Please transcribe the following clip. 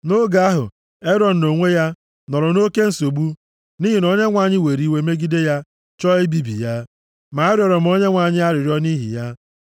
Nʼoge ahụ, Erọn nʼonwe ya, nọrọ nʼoke nsogbu, nʼihi na Onyenwe anyị were iwe megide ya, chọọ ibibi ya, ma arịọrọ m Onyenwe anyị arịrịọ nʼihi ya.